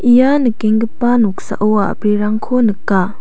ia nikenggipa noksao a·brirangko nika.